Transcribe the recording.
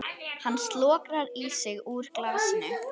Hann slokrar í sig úr glasinu.